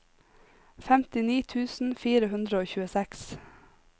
femtini tusen fire hundre og tjueseks